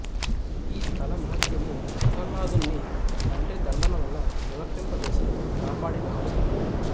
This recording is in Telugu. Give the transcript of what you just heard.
యీస్థల మహాత్మ్యము ప్రహ్లాదుణ్ని తండ్రిదండనవల్ల నివర్తింప చేసి కాపాడిన అవసరము